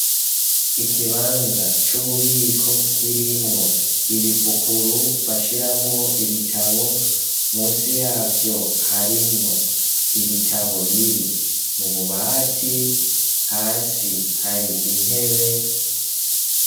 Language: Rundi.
Ikibanza c'ububiko kirimwo ibipukuru bashiramwo ibitabo ,munsi yavyo harimwo ibitabo biri mu bubati hasi hari intebe.